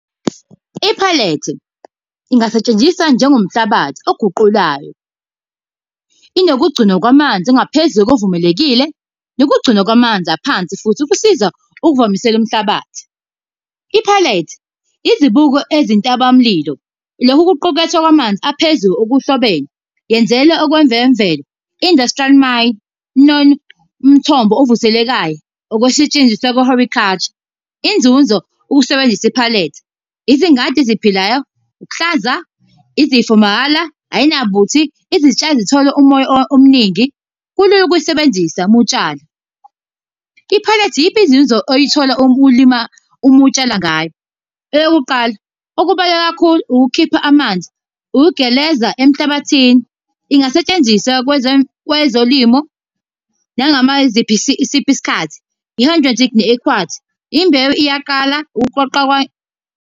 I-perlite ingasetshenziswa njengomhlabathi oguqulayo. Inokugcinwa kwamanzi ngaphezu kokuvumelekile nokugcinwa kwamanzi aphansi futhi ukusiza ukuvamisela umhlabathi. I-perlite izibuko ezintabamlilo, lokhu kuqukethwe kwamanzi aphezulu okuhlobene yenzela okwezemvelo, Industrial Mind, nomthombo ovuselekayo, ukusetshenziswa kwe-horticulture. Inzuzo ukusebenzisa i-perlite, izingadi eziphilayo, ukuhlaza izifo mahhala, ayinabuthi, izitshalo zithola umoya omningi. Kulula ukuyisebenzisa uma utshala. I-perlite iyiphi inzuzo oyithola uma ulimi, uma utshala ngayo? Eyokuqala, okubaluleke kakhulu ukukhipha amanzi, ukugeleza emhlabathini. Ingasetshenziswa kwezolimo isiphi isikhathi . Imbewu iyaqala ukuqoqa